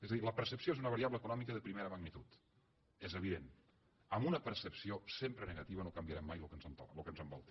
és a dir la percepció és una variable econòmica de primera magnitud és evident amb una percepció sempre negativa no canviarem mai lo que ens envolta